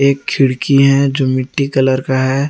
एक खिड़की है जो मिट्टी कलर का है।